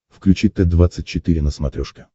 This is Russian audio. включи т двадцать четыре на смотрешке